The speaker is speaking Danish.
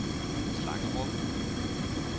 Slangerup